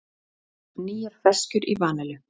Nýjar ferskjur í vanillu